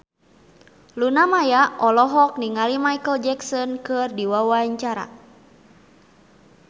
Luna Maya olohok ningali Micheal Jackson keur diwawancara